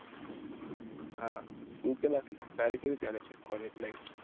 હા તારે કેવી ચાલે છે કોલેજ લાઈફ